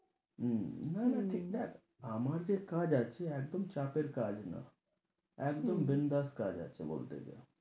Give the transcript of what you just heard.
উম না না ঠিক দেখ? আমার যে কাজ আছে, একদম চাপের কাজ না একদম বিন্দাস কাজ আছে বলতে গেলে।